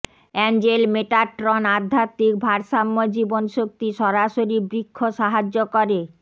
Angel Metatron আধ্যাত্মিক ভারসাম্য জীবন শক্তি সরাসরি বৃক্ষ সাহায্য করে